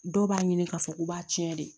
Dɔw b'a ɲini k'a fɔ k'u b'a tiɲɛ de